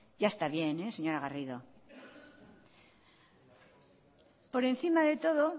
ya está bien señora garrido por encima de todo